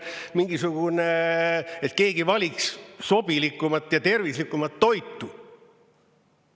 Mingisugune, et keegi valiks sobilikumat ja tervislikumat toitu.